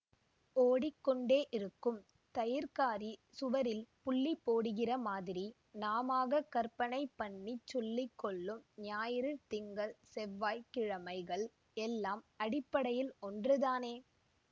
ஓடிக்கொண்டே இருக்கும் தயிர்க்காரி சுவரில் புள்ளி போடுகிற மாதிரி நாமாகக் கற்பனை பண்ணிச் சொல்லி கொள்ளும் ஞாயிறு திங்கள் செவ்வாய் கிழமைகள் எல்லாம் அடிப்படையில் ஒன்றுதானே